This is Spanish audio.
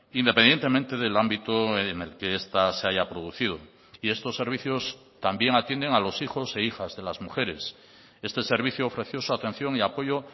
independientemente del ámbito en el que esta se haya producido y estos servicios también atienden a los hijos e hijas de las mujeres este servicio ofreció su atención y apoyo